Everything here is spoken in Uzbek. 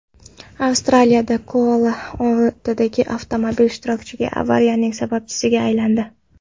Avstraliyada koala oltita avtomobil ishtirokidagi avariyaning sababchisiga aylandi.